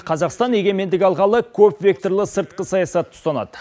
қазақстан егемендік алғалы көпвекторлы сыртқы саясатты ұстанады